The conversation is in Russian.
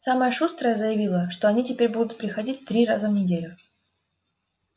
самая шустрая заявила что они теперь будут приходить три раза в неделю